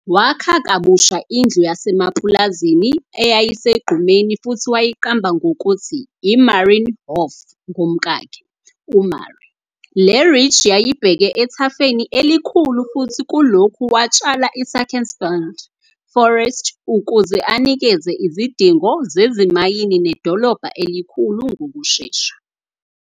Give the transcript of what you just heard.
Wakha kabusha indlu yasemapulazini eyayisegqumeni futhi wayiqamba ngokuthi "IMarienhof" ngomkakhe, uMarie. Le-ridge yayibheke ethafeni elikhulu futhi kulokhu watshala iSachsenwald Forest ukuze anikeze izidingo zezimayini nedolobha elikhula ngokushesha.